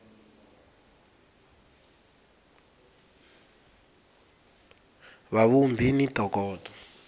va vhumbhi va ni ntokoto